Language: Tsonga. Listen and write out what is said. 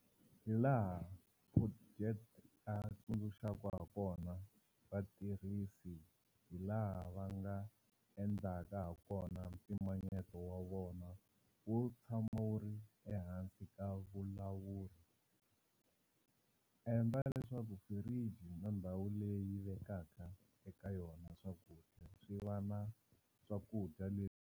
Hilaha Potgieter a tsundzuxaka hakona vatirhisi hilaha va nga endlaka hakona mpimanyeto wa vona wu tshama wu ri ehansi ka vulawuri- Endla leswaku firiji na ndhawu leyi u vekaka eka yona swakudya swi va na swakudya leswi.